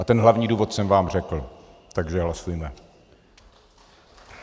A ten hlavní důvod jsem vám řekl, takže hlasujme.